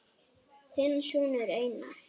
Þinn sonur Einar.